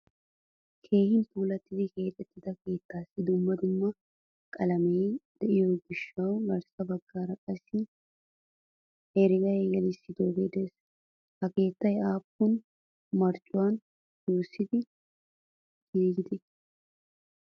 Keehin puulattidi keexettida keettasi dumma dumma qalame deiyoga gidishin garssa baggaara qassi herega gelisdoge de'ees. Ha keettay appun marccuwaa wurssidi giigi?